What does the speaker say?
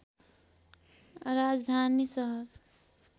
राजधानी सहर